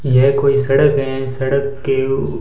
ये कोई सड़क है। सड़क के उउ--